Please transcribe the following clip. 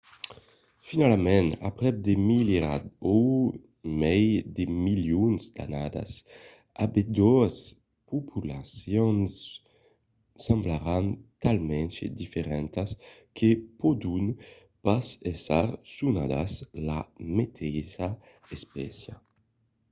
finalament aprèp de milierats o mai de milions d’annadas ambedoas populacions semblaràn talament diferentas que pòdon pas èsser sonadas la meteissa espècia